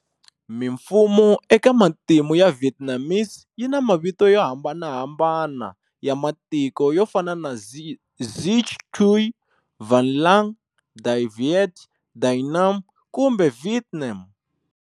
Mimfumo eka matimu ya Vietnamese yina mavito yo hambanahambana ya matiko yofana na"Xich Quy","Van Lang","Dai Viet","Dai Nam" kumbe"Vietnam".